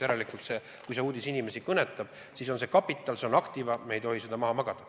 Järelikult, kui see uudis inimesi kõnetab, siis on see kapital, see on aktiva, me ei tohi seda maha magada.